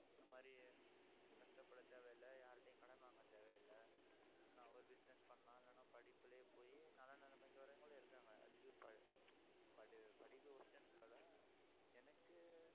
இந்த மாதிரி கஷ்டபட தேவையில்லை. யார்கிட்டயும் கடன் வாங்க தேவையில்லை என்ன ஒரு business பண்ணலாம். இல்லைன்னா படிப்பிலேயே போயி நல்ல நிலைமைக்கு வர்றவங்களும் இருக்காங்க அதுக்கு ப~ படி~ படிப்பு worst னு சொல்லல எனக்கு